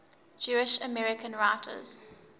jewish american writers